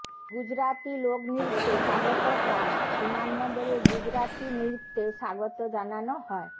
গুজরাতি লোকনৃত্যে স্বাগত ট্রাম্প বিমানবন্দরে গুজরাতি নৃত্যে স্বাগত জানানো হয়